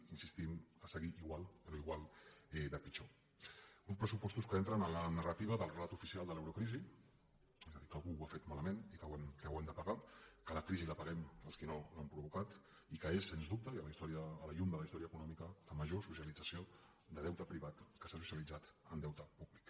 hi insistim a seguir igual però igual de pitjor uns pressupostos que entren en la narrativa del relat oficial de l’eurocrisi és a dir que algú ho ha fet malament i que ho hem de pagar que la crisi la paguem els que no l’hem provocada i que és sens dubte i a la llum de la història econòmica la major socialització de deute privat que s’ha socialitzat en deute públic